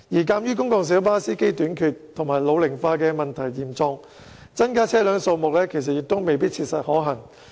鑒於公共小巴司機短缺及老齡化的問題嚴重，增加車輛數目其實亦未必切實可行。